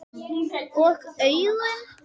Og augun?